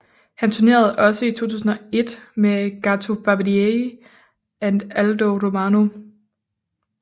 Han tournerede også i 2001 med Gato Barbieri and Aldo Romano